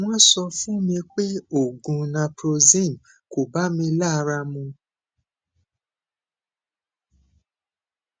wọn sọ fún mi pé oògùn naproxen kò bá mi lára mu